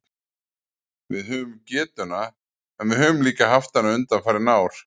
Við höfum getuna, en við höfum líka haft hana undanfarin ár.